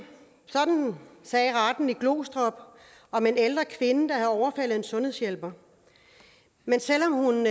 sådan sagde retten i glostrup om en ældre kvinde der havde overfaldet en sundhedshjælper men selv om hun